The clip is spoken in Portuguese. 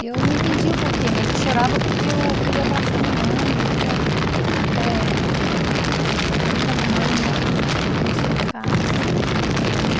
E eu não entendi o porquê, mas eu chorava porque eu queria abraçar minha mãe, eu queria eh... O carinho da minha mãe, e ela começou a ficar nesse estresse muito grande.